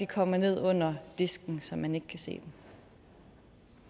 kommer ned under disken så man ikke kan se dem